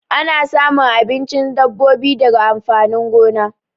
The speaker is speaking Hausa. Ana samun abincin dabbobi daga amfanin gona.